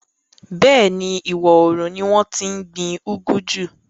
Bẹ́ẹ̀ni, ìwọòrùn ni wọ́n tí n gbin úgú jù